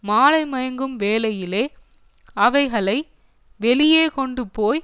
மாலைமயங்கும் வேளையிலே அவைகளை வெளியே கொண்டுபோய்